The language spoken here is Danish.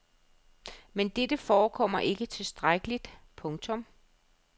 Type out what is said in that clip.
Men dette forekommer ikke tilstrækkeligt. punktum